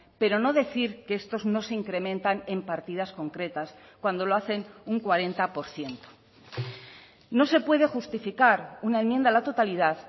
pero no decir que estos no se incrementan en partidas concretas cuando lo hacen un cuarenta por ciento no se puede justificar una enmienda a la totalidad